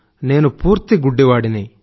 నేను పూర్తి గుడ్డివాడిని